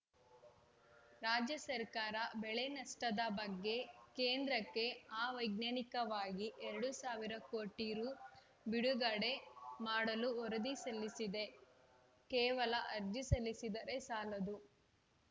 ರಾಜ್ಯ ಸರ್ಕಾರ ಬೆಳೆ ನಷ್ಟದ ಬಗ್ಗೆ ಕೇಂದ್ರಕ್ಕೆ ಅವೈಜ್ಞಾನಿಕವಾಗಿ ಎರಡು ಸಾವಿರ ಕೋಟಿ ರು ಬಿಡುಗಡೆ ಮಾಡಲು ವರದಿ ಸಲ್ಲಿಸಿದೆ ಕೇವಲ ಅರ್ಜಿ ಸಲ್ಲಿಸಿದರೆ ಸಾಲದು